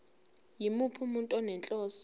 yimuphi umuntu onenhloso